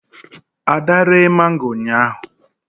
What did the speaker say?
ada ree mango ụnyahụ